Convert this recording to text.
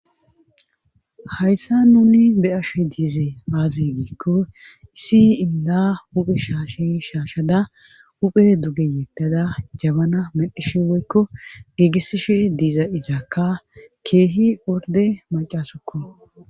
hayssan nuni be7ashe dizey aaze giikko issi inddaa huphe shaashen shaashada huphe duge yeddada jabana medhishe woykko giigissishe diza izakka keehi ordde maccasukko.